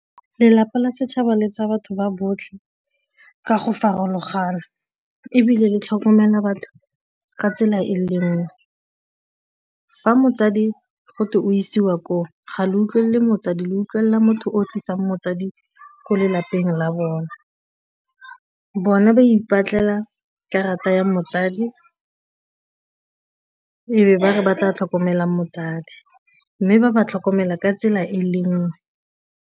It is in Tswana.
Lelapa la setšhaba le tsaya batho ba botlhe ka go farologana ebile le tlhokomela batho ka tsela e le nngwe. Fa motsadi gote o isiwa koo, ga le utlwelela motsadi le utlwelela motho o tlisang motsadi ko lelapeng la bona bona ba ipatlela karata ya motsadi e be ba re ba tla tlhokomelang motsadi mme ba ba tlhokomela ka tsela e le nngwe.